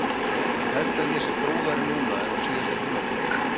Ég held að ég sé prúðari núna en á síðasta tímabili.